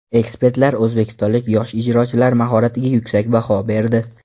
Ekspertlar o‘zbekistonlik yosh ijrochilar mahoratiga yuksak baho berdi.